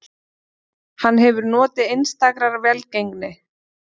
Hann hefur notið einstakrar velgengni